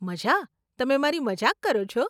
મઝા, તમે મારી મજાક કરો છો?